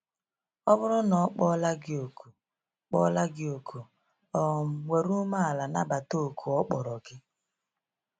Ọ bụrụ na ọ kpọla gị òkù, kpọla gị òkù, um were umeala nabata òkù ọ kpọrọ gị.